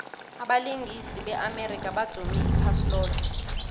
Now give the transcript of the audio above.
abalingisi be amerika badume iphasi loke